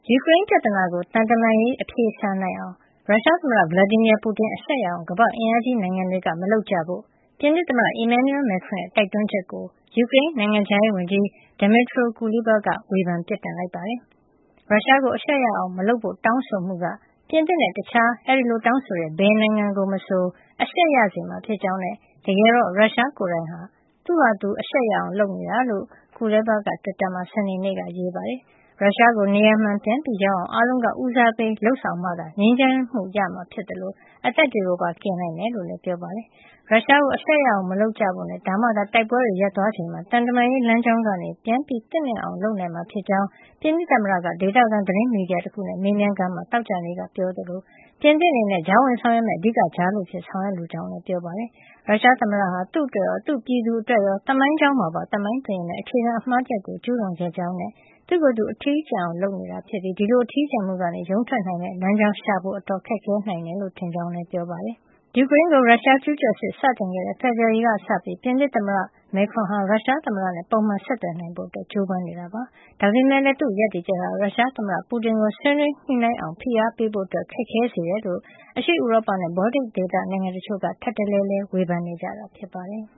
ယူကရိန်းပြဿနာကို သံတမန်ရေး အဖြေရှာနိုင်အောင် ရုရှားသမ္မတ Vladimir Putin အရှက်ရအောင် ကမ္ဘာ့အင်အားကြီးနိုင်ငံတွေက မလုပ်ကြဖို့ ပြင်သစ်သမ္မတ Emmanuel Macron ရဲ့ တိုက်တွန်းချက်ကို ယူကရိန်း နိုင်ငံခြားရေးဝန်ကြီး Dmytro Kuleba က ဝေဖန်ပြစ်တင်လိုက်ပါတယ်။ ရုရှားကို အရှက်ရအောင်မလုပ်ဖို့ တောင်းဆိုမှုက ပြင်သစ်နဲ့ တခြားအဲဒီလိုတောင်းဆိုတဲ့ ဘယ်နိုင်ငံကို မဆို အရှက်ရစေမှာ ဖြစ်ကြောင်းနဲ့ တကယ်တော့ ရုရှားကိုယ်တိုင်က သူ့ဟာသူအရှက်ရအောင် လုပ်နေတာလို့ Kuleba က တွစ်တာမှာ စနေနေ့က ရေးပါတယ်။ ရုရှားကို နေရာမှန်ပြန်ရောက်အောင် အားလုံးက ဦးစားပေး လုပ်ဆောင်မှသာ ငြိမ်းချမ်းမှုရမှာ ဖြစ်သလို အသက်တွေကိုပါ ကယ်နိုင်မှာ ဖြစ်ကြောင်းလည်း ပြောပါတယ်။ ရုရှားကို အရှက်ရအောင် မလုပ်ကြဖို့နဲ့ ဒါမှသာ တိုက်ပွဲတွေ ရပ်သွားချိန်မှာ သံတမန်ရေး လမ်းကြောင်းကနေ ပြန်သင့်မြတ်အောင် လုပ်နိုင်မှာ ဖြစ်ကြောင်း ပြင်သစ်သမ္မတက ဒေသခံ သတင်းမီဒီယာတခုနဲ့ မေးမြန်းခန်းမှာ သောကြာနေ့က ပြောကြားခဲ့သလို ပြင်သစ် အနေနဲ့ ကြားဝင်ဆောင်ရွက်မယ့် အဓိက ကြားလူအဖြစ် ဆောင်ရွက်လိုကြောင်းလည်း ပြောကြားခဲ့တာပါ။ ရုရှားသမ္မတဟာ သူ့အတွက်ရော၊ သူ့ပြည်သူအတွက်ရော သမိုင်းကြောင်းမှာပါ သမိုင်းတွင်ရစ်မယ့် အခြေခံအမှား တရပ်ကို ကျူးလွန်ခဲ့ကြောင်းနဲ့၊ သူ့ကိုယ်သူ အထီးကျန်အောင် လုပ်နေပြီး ဒီလို အထီးကျန်မှုကနေ ရုန်းထွက်နိုင်မယ့် လမ်းကြောင်းရှာဖို့ကတော အတော်ခက်ခဲနိုင်တယ်လို့ ထင်ကြောင်းလည်း ပြောပါတယ်။ ယူကရိန်းကို ရုရှားကျူးကျော်စစ် စတင်ခဲ့တဲ့ ဖေဖေါ်ဝါရီလကစပြီး ပြင်သစ်သမ္မတ Macron ဟာ ရုရှားသမ္မတနဲ့ ပုံမှန်ဆက်သွယ်နိုင်ဖို့ ကြိုးပမ်းနေတာပါ။ ဒါပေမဲ့လည်း သူ့ရပ်တည်ချက်ဟာ ရုရှားသမ္မတ Putin ကို ဆွေးနွေးညှိနှိုင်းအောင် ဖိအားပေးဖို့ ခက်ခဲစေတယ်လို့လည်း အရှေ့ဥရောပနဲ့ ဘော်လ်တစ်ဒေသ နိုင်ငံတချို့က ထပ်တလဲလဲ ဝေဖန်နေတာ ဖြစ်ပါတယ်။